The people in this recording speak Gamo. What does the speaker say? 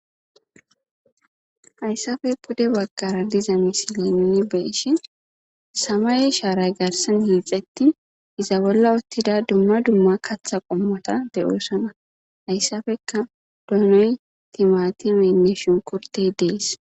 Hayssappe pude baggara diiza nu be'ishin samaye sharay garssan hixetti iza bolla uttida dumma dumma kaththa qommotta de'ossona. Hayssappe donney,timatimeynne shunkkurttey de'es.